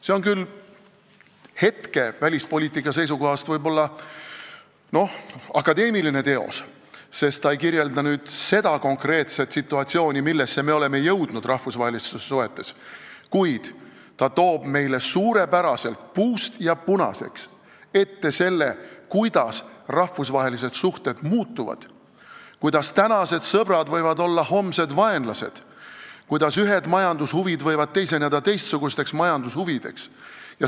See võib küll hetke välispoliitika seisukohast olla akadeemiline teos, sest ta ei kirjelda seda konkreetset situatsiooni, millesse me oleme jõudnud rahvusvahelistes suhetes, kuid ta teeb meile suurepäraselt, puust ja punaseks ette selle, kuidas rahvusvahelised suhted muutuvad, kuidas tänased sõbrad võivad olla homsed vaenlased, kuidas ühed majandushuvid võivad teiseneda teistsugusteks majandushuvideks.